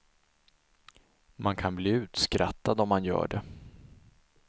Man kan bli utskrattad om man gör det.